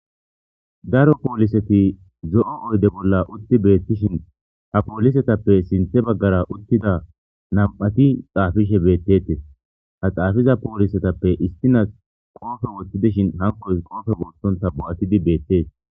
daro pooliseti zo7o oyde bolla utti beettishin ha poolisetappe sinthe baggara uttida nam7ati xaafishe beettetes ha xaafiza poolisetappe istinas qoofe wottidishin hankoy qoofe woottonta bo7atidi beettes